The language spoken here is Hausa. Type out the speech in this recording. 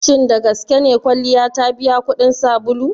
Shin dagaske ne kwalliya ta biya kuɗin sabulu?